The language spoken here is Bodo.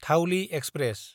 धाउलि एक्सप्रेस